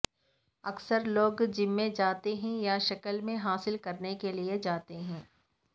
اکثر لوگ جم میں جاتے ہیں یا شکل میں حاصل کرنے کے لئے جاتے ہیں